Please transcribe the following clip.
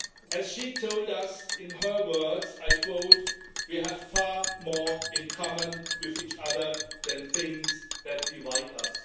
As she told us, in her words, I quote We have far more in common with each other than things that divide us.'